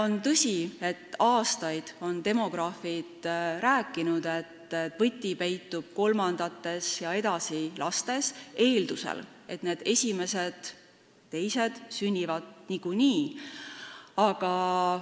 On tõsi, et aastaid on demograafid rääkinud, et võti peitub kolmandates ja järgmistes lastes, eeldusel, et esimesed ja teised lapsed sünnivad niikuinii.